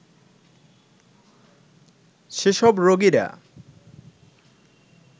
সেসব রোগীরা